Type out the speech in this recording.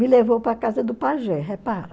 Me levou para a casa do pajé, repara.